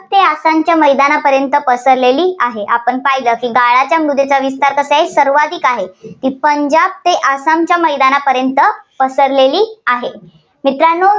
ते आसामच्या मैदानापर्यंत पसरलेली आहे. आपण पाहिलं गाळाची मृदेचा विस्तार सर्वाधिक आहे. ती पंजाब ते आसामच्या मैदानापर्यंत पसरेली आहे. मित्रांनो